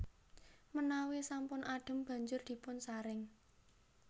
Menawi sampun adhem banjur dipunsaring